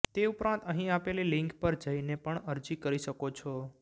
તે ઉપરાંત અહી આપેલી લિંક પર જઈને પણ અરજી કરી શકો છો